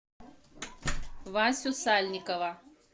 васю сальникова